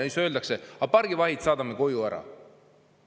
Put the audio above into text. Ometi öeldakse: pargivahid saadame koju ära.